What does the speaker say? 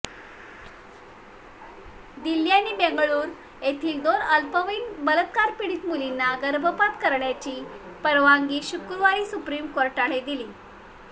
दिल्ली आणि बेंगळुरू येथील दोन अल्पवयीन बलात्कारपीडित मुलींना गर्भपात करण्याची परवानगी शुक्रवारी सुप्रीम कोर्टाने दिली